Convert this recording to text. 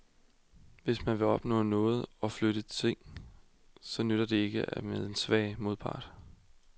Hvis man vil opnå noget og flytte nogle ting, så nytter det ikke med en svag modpart.